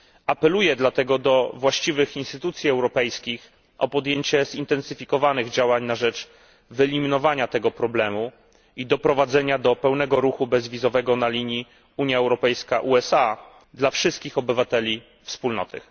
Apeluję dlatego do właściwych instytucji europejskich o podjęcie zintensyfikowanych działań na rzecz wyeliminowania tego problemu i doprowadzenia do pełnego ruchu bezwizowego na linii Unia Europejska USA dla wszystkich obywateli Wspólnoty.